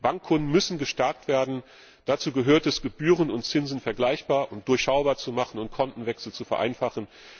Bankkunden müssen gestärkt werden. Dazu gehört es, Gebühren und Zinsen vergleichbar und durchschaubar zu machen und Kontenwechsel zu vereinfachen.